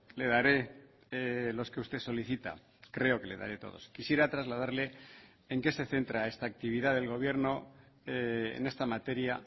le daré los que usted solicita creo que le daré todos quisiera trasladarle en qué se centra esta actividad del gobierno en esta materia